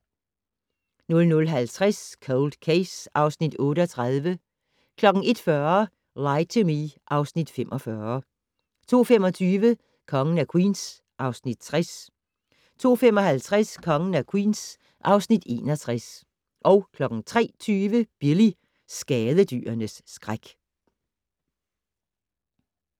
00:50: Cold Case (Afs. 38) 01:40: Lie to Me (Afs. 45) 02:25: Kongen af Queens (Afs. 60) 02:55: Kongen af Queens (Afs. 61) 03:20: Billy - skadedyrenes skræk